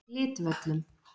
Glitvöllum